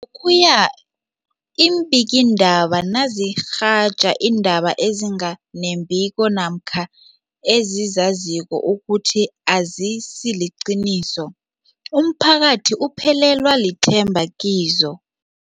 Lokhuya iimbikiindaba nazirhatjha iindaba ezinga nembiko namkha ezizaziko ukuthi azisiliqiniso, umphakathi uphelelwa lithemba kizo.